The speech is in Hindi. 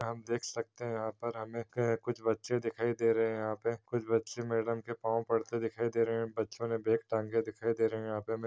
आप देख सकते है यहा पर हमे क कुछ बच्चे दिखाई दे रहे है यहा पे कुछ बच्चे मैडम के पाव पड़ते दिखाई दे रहे है। बच्चों ने बेग टाँगे दिखाई दे रहे है। यहा पे हमे--